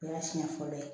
O y'a siɲɛ fɔlɔ ye